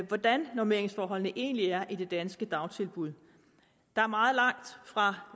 hvordan normeringsforholdene egentlig er i det danske dagtilbud der er meget langt